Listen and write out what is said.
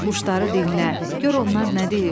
Bir quşları dinlə, gör onlar nə deyir.